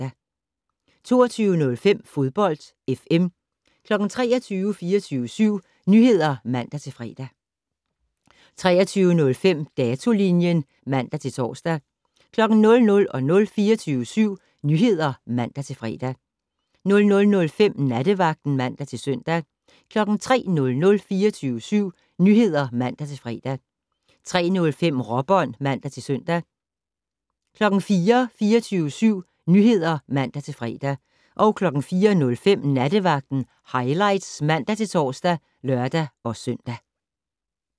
22:05: Fodbold FM 23:00: 24syv Nyheder (man-fre) 23:05: Datolinjen (man-tor) 00:00: 24syv Nyheder (man-fre) 00:05: Nattevagten (man-søn) 03:00: 24syv Nyheder (man-fre) 03:05: Råbånd (man-søn) 04:00: 24syv Nyheder (man-fre) 04:05: Nattevagten Highlights (man-tor og lør-søn)